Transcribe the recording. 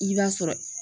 I b'a sɔrɔ